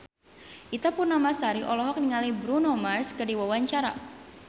Ita Purnamasari olohok ningali Bruno Mars keur diwawancara